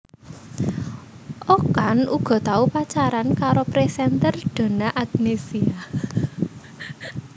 Okan uga tau pacaran karo presenter Donna Agnesia